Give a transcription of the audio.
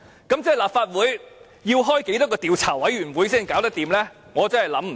那麼，立法會究竟要成立多少個調查委員會才可行？